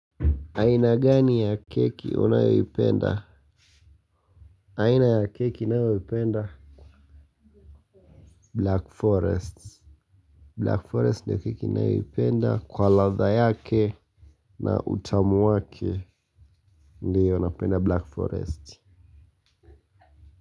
Aina gani ya keki unayoipenda? Aina ya keki ninayoipenda ni black forest, black forest ndio keki ninayoipenda kwa ladha yake na utamu wake. Ndio, napenda black forest.